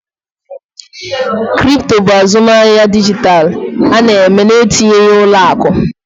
Kripto bụ azụmahịa dijitalụ eme na-etinyeghị ụlọ akụ